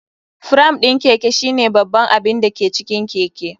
Fram ɗin Keke shine babban abin da ke cikin keke.